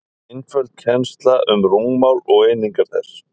einföld kennsla um rúmmál og einingar þess